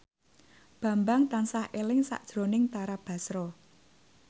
Bambang tansah eling sakjroning Tara Basro